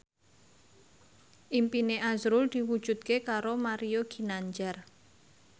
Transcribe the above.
impine azrul diwujudke karo Mario Ginanjar